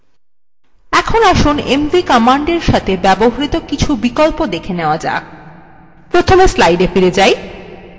এখন আসুন mv কমান্ডের সাথে ব্যবহৃত কিছু বিকল্প দেখে নেওয়া যাক প্রথমে slides ফিরে যাই